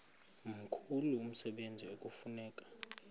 mkhulu umsebenzi ekufuneka